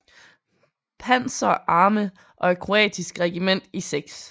Panzer Arme og et kroatisk regiment i 6